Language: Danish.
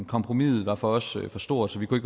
kompromiset var for os for stort så vi kunne